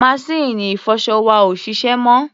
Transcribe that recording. Maṣíìnì ìfọṣọ wa ò ṣiṣẹ́ mọ́.